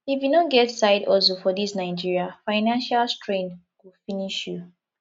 if you no get side hustle for dis naija financial strain go finish you